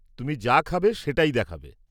-তুমি যা খাবে, সেটাই দেখাবে।